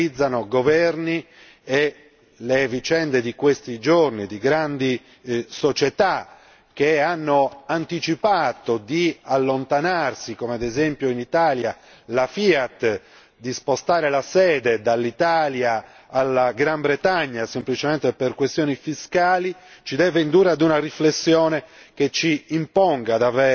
Troppe differenze caratterizzano i governi e le vicende di questi giorni di grandi società che hanno anticipato di allontanarsi come ad esempio in Italia, la Fiat, di spostare la sede dall'Italia alla Gran Bretagna semplicemente per questioni fiscali ci deve indurre ad una riflessione